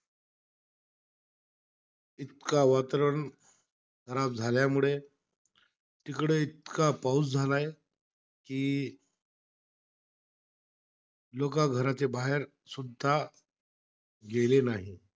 इतका वातावरण खराब झाल्यामुळे, तिकडे इतका पाऊस झालायं. कि लोकं घराच्या बाहेरसुद्धा गेले नाही.